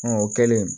o kɛlen